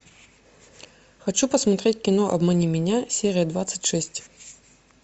хочу посмотреть кино обмани меня серия двадцать шесть